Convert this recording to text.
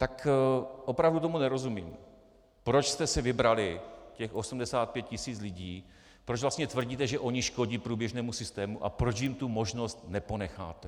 Tak opravdu tomu nerozumím, proč jste si vybrali těch 85 tisíc lidí, proč vlastně tvrdíte, že oni škodí průběžnému systému, a proč jim tu možnost neponecháte.